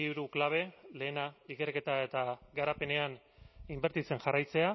hiru klabe lehena ikerketa eta garapenean inbertitzen jarraitzea